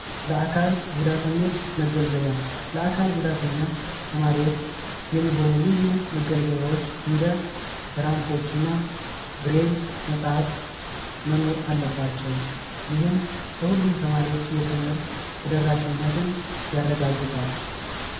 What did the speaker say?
ለአካል ጉዳተኞች መገልገያ ለአካል ጉዳተኛ ተማሪዎች የሚሆኑ ልዩ መገልገያዎች እንደ ራምቦችና ብሬል መጽሃፍት መኖር አለባቸው። ይህም ለሁሉም ተማሪዎች የትምህርት ተደራሽነትን ያረጋግጣል።